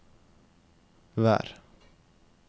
vær